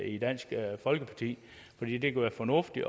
i dansk folkeparti fordi det kan være fornuftigt